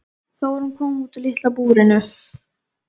Þórunn kom út úr litla búrinu.